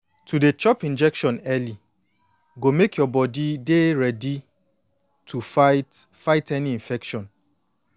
to dey chop injection early go make your body dey ready to fight fight any infection